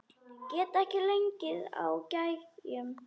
Get ekki legið á gægjum.